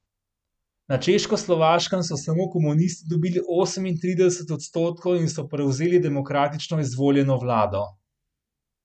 Na Češkoslovaškem so samo komunisti dobili osemintrideset odstotkov in so prevzeli demokratično izvoljeno vlado.